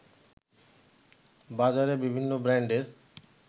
বাজারে বিভিন্ন ব্রান্ডের